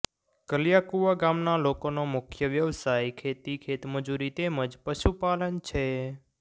કાલિયાકુવા ગામના લોકોનો મુખ્ય વ્યવસાય ખેતી ખેતમજૂરી તેમ જ પશુપાલન છે